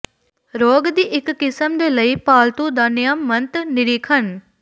ਰੋਗ ਦੀ ਇੱਕ ਕਿਸਮ ਦੇ ਲਈ ਪਾਲਤੂ ਦਾ ਨਿਯਮਤ ਨਿਰੀਖਣ